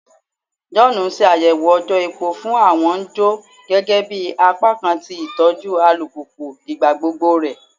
John n ṣayẹwo ojò epo fun awọn n jo gẹgẹbi apakan ti itọju alupupu igbagbogbo rẹ